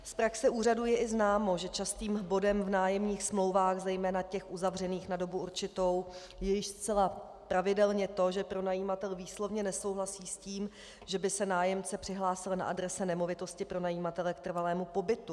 Z praxe úřadů je i známo, že častým bodem v nájemních smlouvách, zejména těch uzavřených na dobu určitou, je již zcela pravidelně to, že pronajímatel výslovně nesouhlasí s tím, že by se nájemce přihlásil na adrese nemovitosti pronajímatele k trvalému pobytu.